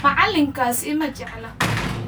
Macallinkaas ima jecla